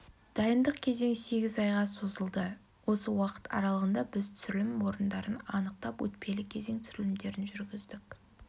дайындық кезең сегіз айға созылды осы уақыт аралығында біз түсірілім орындарын анықтап өтпелі кезең түсірілімдерін жүргіздік